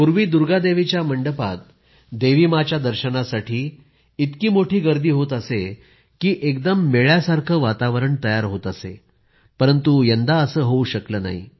पूर्वी दुर्गादेवीच्या मंडपात देवीमाँच्या दर्शनासाठी इतकी मोठी गर्दी होत असे की एकदम मेळ्यासारखं वातावरण तयार होत असेपरंतु यंदा असं होऊ शकलं नाही